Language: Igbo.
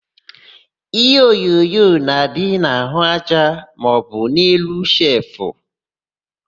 Iheonyonyo na-adị n'àhụ́aja maọbụ n'elu shelfụ.